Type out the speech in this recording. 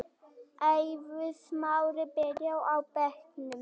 Eiður Smári byrjar á bekknum